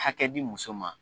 Hakɛ di muso ma.